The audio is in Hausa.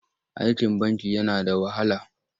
Aikin banki yana da wahala.